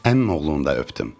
Əmioğlunu da öpdüm.